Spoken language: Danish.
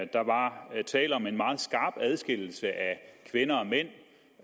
der var tale om en meget skarp adskillelse af kvinder og mænd